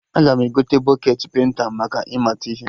Aga m egote bọketị penta maka ị mata ihe